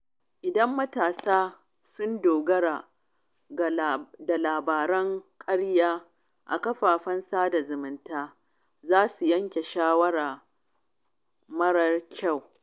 Idan matasa sun dogara da labaran ƙarya a kafafen sada zumunta, za su yanke shawara mara kyau.